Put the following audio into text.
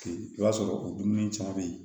I b'a sɔrɔ o dumuni caman bɛ yen